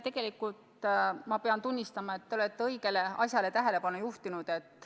Tegelikult ma pean tunnistama, et te olete õigele asjale tähelepanu juhtinud.